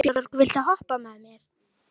Einhver hluti fór í Rauðavatn í tilraunaskyni.